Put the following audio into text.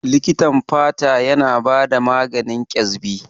Likitan fata yana bada maganin Ƙyaspi.